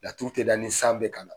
Laturu tɛ da ni san bɛ ka na.